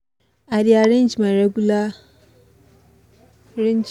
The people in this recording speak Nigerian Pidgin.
i dey arrange my regular arrange my regular tasks every week make dem no go skip for my mind